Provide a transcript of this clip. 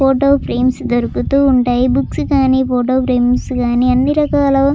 Photo frames దొరుకుతూ ఉంటాయి. Books కానీ ఫోటో ఫ్రేమ్స్ గానీ అన్ని రకాలా--